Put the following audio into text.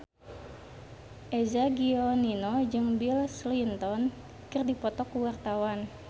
Eza Gionino jeung Bill Clinton keur dipoto ku wartawan